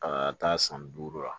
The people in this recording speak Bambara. A ka taa san duuru la